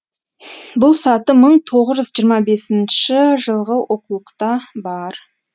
бұл саты мың тоғыз жүз жиырма бесінші жылғы оқулықта бар